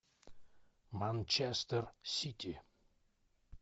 манчестер сити